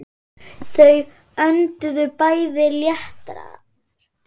Þau önduðu bæði léttar.